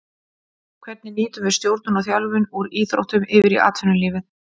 Hvernig nýtum við stjórnun og þjálfun úr íþróttum yfir í atvinnulífið.